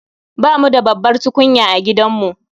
Bamu da babbar tukunya a gidanmu